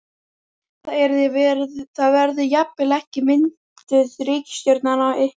Það verði jafnvel ekki mynduð ríkisstjórn án ykkar?